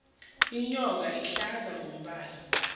inyongo ihlaza ngombala